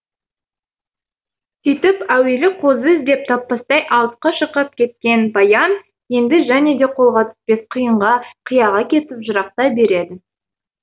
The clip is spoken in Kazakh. сөйтіп әуелі қозы іздеп таппастай алысқа шырқап кеткен баян енді және де қолға түспес қиынға қияға кетіп жырақтай береді